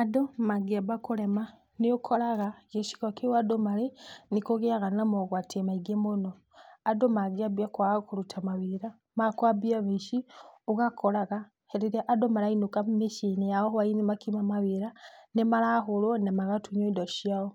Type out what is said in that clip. Andũ mangĩamba kũrema nĩ ũkoraga gĩcigo kĩu andũ marĩ nĩ kũgĩaga na mogwati maingĩ mũno. Andũ mangĩambia kwaga kũruta mawĩra makwambia wũici, ũgakoraga hĩndĩ ĩrĩa andũ marainũka mĩciĩ-inĩ yao hwainĩ makiuma mawĩra nĩmarahũrwo na magatunywo indo ciao.